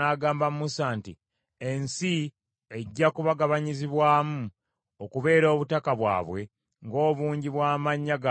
“Ensi ejja kubagabanyizibwamu okubeera obutaka bwabwe ng’obungi bw’amannya gaabwe bwe buli.